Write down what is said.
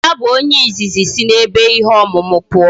Ya bu onye izizi isi na ebe ihe omumu puo